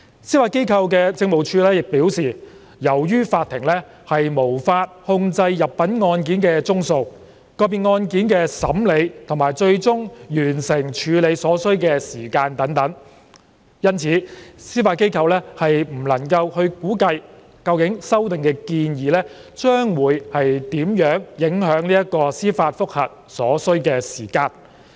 司法機構政務處表示，由於法庭無法控制入稟案件的宗數、個別案件的審理及最終完成處理所需的時間等，因此司法機構不能估計究竟修訂建議將會如何影響處理司法覆核案件所需的時間。